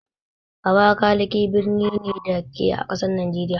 Abakalaki birni ne, da ke a ƙasar Nijeriya.